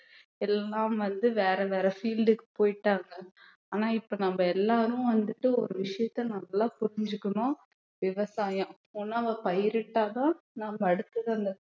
எல்லாம் வந்து வேற வேற field க்கு போயிட்டாங்க ஆனா இப்ப நம்ம எல்லாரும் வந்துட்டு ஒரு விஷயத்த நல்லா புரிஞ்சுக்கணும் விவசாயம் உணவை பயிரிட்டாதான் நாம அடுத்தது அந்த